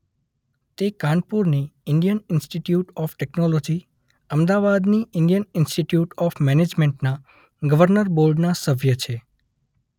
તે કાનપુરની Indian institute of technology; અમદાવાદની ઈન્ડિયન ઈન્સ્ટિટયુટ ઓફ મેનેજમેન્ટના ગર્વનર બોર્ડના સભ્ય છે.